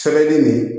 Sɛbɛnni nin